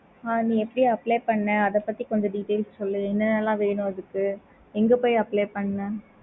ஆஹ் நீ அப்படி apply பண்ண அத பத்தி கொஞ்சம் details சொல்லு. என்ன என்ன எல்லாம் வேணும் அதுக்கு எங்க போய் apply பண்ண